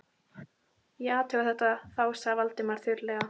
Ég athuga þetta þá sagði Valdimar þurrlega.